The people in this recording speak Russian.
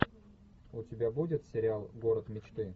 у тебя будет сериал город мечты